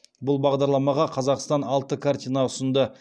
бұл бағдарламаға қазақстан алты картина ұсынды